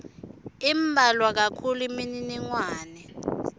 imbalwa kakhulu imininingwane